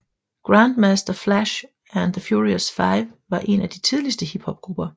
Grandmaster Flash and the Furious Five var en af de tidligste hiphopgrupper